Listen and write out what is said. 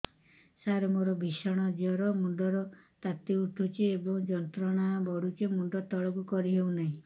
ସାର ମୋର ଭୀଷଣ ଜ୍ଵର ମୁଣ୍ଡ ର ତାତି ଉଠୁଛି ଏବଂ ଯନ୍ତ୍ରଣା କରୁଛି ମୁଣ୍ଡ ତଳକୁ କରି ହେଉନାହିଁ